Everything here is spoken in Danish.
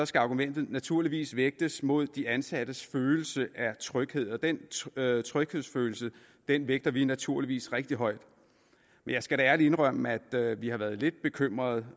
skal argumentet naturligvis vægtes mod de ansattes følelse af tryghed og den tryghedsfølelse vægter vi naturligvis rigtig højt jeg skal da ærligt indrømme at vi har været lidt bekymrede